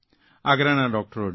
આગ્રાના ડૉકટરોની